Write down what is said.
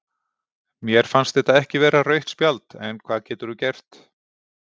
Mér fannst þetta ekki vera rautt spjald en hvað getur þú gert?